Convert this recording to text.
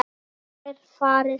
Hvenær farið þið?